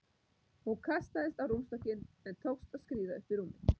Hún kastaðist á rúmstokkinn en tókst að skríða upp í rúmið.